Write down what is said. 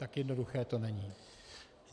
Tak jednoduché to není.